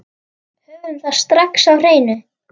Höfum það strax á hreinu.